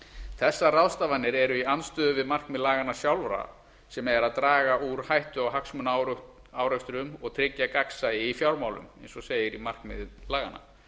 þessar ráðstafanir eru í andstöðu við markmið laganna sjálfra sem er að draga úr hættu á hagsmunaárekstrum og tryggja gagnsæi í fjármálum eins og segir í markmiði laganna